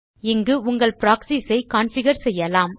இங்கு உங்கள் ப்ராக்ஸிஸ் ஐ கான்பிகர் செய்யலாம்